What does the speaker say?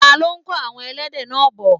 ta ló kó àwon ẹlẹ́dẹ̀ náà bọ̀?